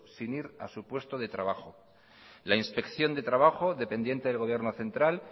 sin ir a su puesto de trabajo la inspección de trabajo dependiente del gobierno central